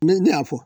ne y'a fɔ